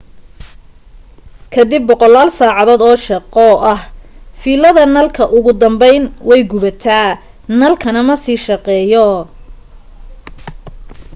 kadib boqolaal saacadood oo shaqo ah fiilada nalka ugu dambayn way gubataa nalkana ma sii shaqeeyo